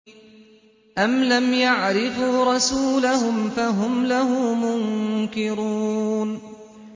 أَمْ لَمْ يَعْرِفُوا رَسُولَهُمْ فَهُمْ لَهُ مُنكِرُونَ